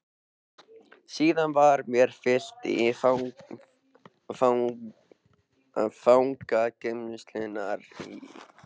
Síðan var mér fylgt í fangageymslurnar í